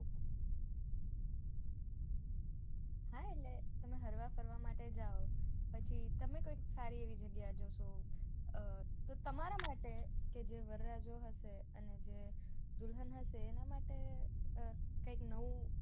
હા એટલે તમે હરવા ફરવા માટે જાઓ પછી તમે કોઈક સારી એવી જગ્યાએ જશો તમારાં માટે જે વરરાજો હશે અને જે દુલ્હન હશે એનાં માટે કઈક નવું